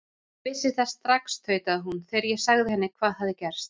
Ég vissi það strax tautaði hún, þegar ég sagði henni hvað hafði gerst.